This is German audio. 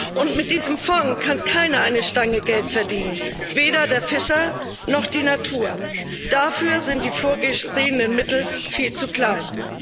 Und mit diesem Fonds kann keiner eine Stange Geld verdienen weder der Fischer noch die Natur. Dafür sind die vorgesehenen Mittel viel zu klein.